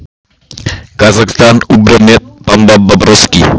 Eftir stutt símtal sneri Birkir sér aftur að Jóhanni.